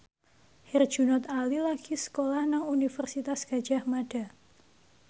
Herjunot Ali lagi sekolah nang Universitas Gadjah Mada